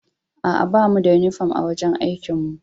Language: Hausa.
Aa, ba mu da uniform a'wajen aikin mu.